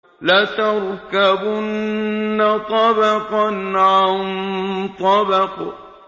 لَتَرْكَبُنَّ طَبَقًا عَن طَبَقٍ